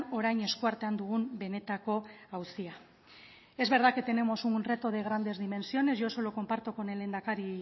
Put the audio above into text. orain eskuartean dugun benetako auzia es verdad que tenemos un reto de grandes dimensiones yo eso lo comparto con el lehendakari